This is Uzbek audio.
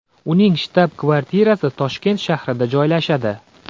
Uning shtab-kvartirasi Toshkent shahrida joylashadi.